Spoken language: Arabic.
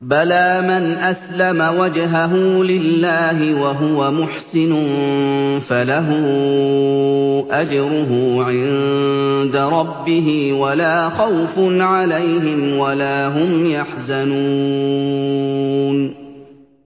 بَلَىٰ مَنْ أَسْلَمَ وَجْهَهُ لِلَّهِ وَهُوَ مُحْسِنٌ فَلَهُ أَجْرُهُ عِندَ رَبِّهِ وَلَا خَوْفٌ عَلَيْهِمْ وَلَا هُمْ يَحْزَنُونَ